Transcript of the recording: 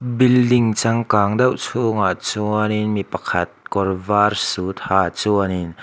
building changkang deuh chhungah chuanin mi pakhat kawr var suit ha chuanin--